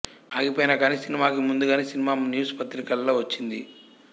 ఆగిపోయినా కానీ సినిమాకి ముందుగానే సినిమా న్యూస్ పత్రికల్లో వచ్చింది